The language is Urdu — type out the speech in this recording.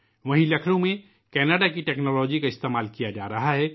وہیں لکھنؤ میں کناڈا کی ٹیکنالوجی کا استعمال کیا جارہا ہے